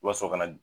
Wa so ka na